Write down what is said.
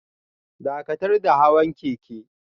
Dakatar da hawan keke